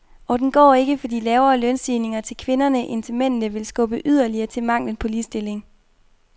Og den går ikke, fordi lavere lønstigninger til kvinderne end til mændene vil skubbe yderligere til manglen på ligestilling.